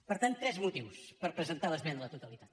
per tant tres motius per presentar l’esmena a la totalitat